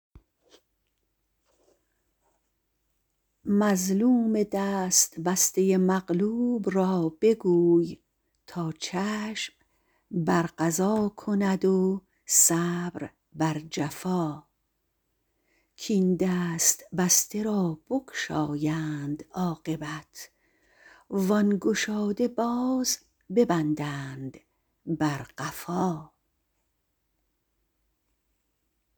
مظلوم دست بسته مغلوب را بگوی تا چشم بر قضا کند و صبر بر جفا کاین دست بسته را بگشایند عاقبت وان گشاده باز ببندند بر قفا